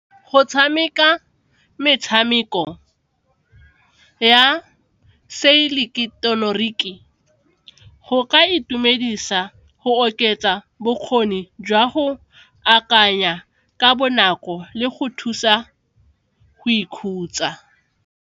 Go tshameka metshameko ya seileketeroniki go ka itumedisa go oketsa bokgoni jwa go akanya ka bonako le go thusa go ikhutsa.